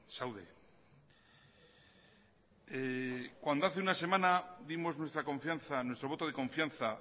zaude cuando hace una semana dimos nuestra confianza nuestro voto de confianza